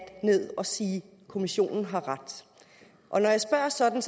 ned og sige at kommissionen har ret og når jeg spørger sådan